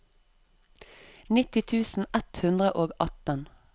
nitti tusen ett hundre og atten